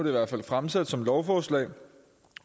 i hvert fald fremsat som lovforslag